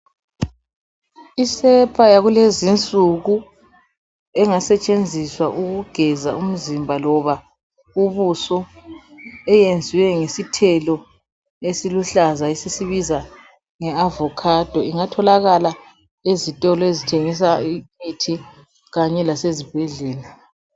Isepa yakulezi nsuku engasetshenziswa ukugeza umzimba loba ubuso eyenziwe ngesithelo esiluhlaza esisibiza nge avocado ingatholakala ezitolo ezithengisa imithi kanye lasezibhedlela.